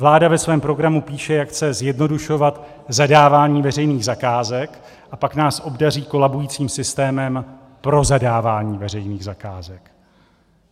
Vláda ve svém programu píše, jak chce zjednodušovat zadávání veřejných zakázek, a pak nás obdaří kolabujícím systémem pro zadávání veřejných zakázek.